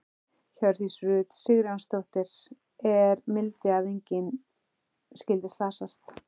Hjördís Rut Sigurjónsdóttir: Er mildi að engin skyldi slasast?